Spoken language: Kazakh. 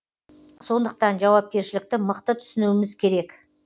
сондықтан жауапкершілікті мықты түсінуіміз керек